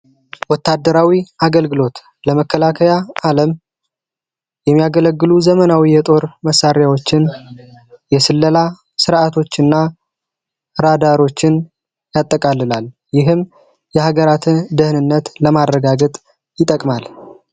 ወታደራዊ አገልግሎት ለመከላከያ ዓለም የሚያገለግሉ ዘመናዊ የጦር መሳሪያዎችን የስለላ ስርዓቶች ና ራዳሮችን ያጠቃልላል። ይህም የሀገራትን ደህንነት ለማድረጋገጥ ይጠቅማል።